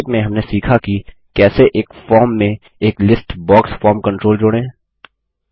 संक्षेप में हमने सीखा कि कैसे एक फॉर्म में एक लिस्ट बॉक्स फॉर्म कंट्रोल जोड़ें